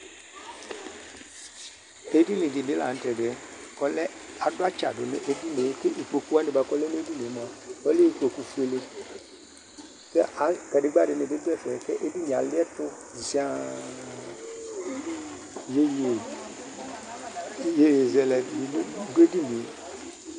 Edɩŋɩ dibi lanutɛdɩɛ Adu atsa du ŋʊ efinɩe Kpoku wani buakʊ ɔlɛ nediŋie mʊa ɔlɛ ɩkpokʊ fʊele, kadegba dini bɩ dɛfɛ kedinɩe alɩɛtʊ zɩaa Ɩyoyɩzɛlɛ di dʊ edinɩe